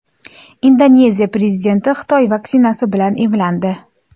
Indoneziya prezidenti Xitoy vaksinasi bilan emlandi.